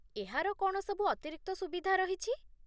ଏହାର କ'ଣ ସବୁ ଅତିରିକ୍ତ ସୁବିଧା ରହିଛି ?